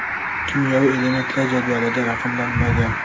Kimyoviy elementlar jadvalda raqamlanmagan.